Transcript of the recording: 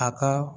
A ka